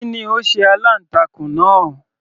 Kí ni ó sé aláǹtakùn náà